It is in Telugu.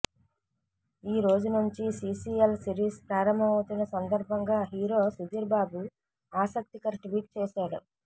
ఈ రోజు నుంచి సీసీఎల్ సిరీస్ ప్రారంభమవుతున్న సందర్భంగా హీరో సుధీర్ బాబు ఆసక్తికర ట్వీట్ చేశాడు